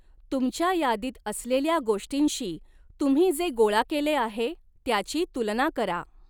तुमच्या यादीत असलेल्या गोष्टींशी तुम्ही जे गोळा केले आहे त्याची तुलना करा.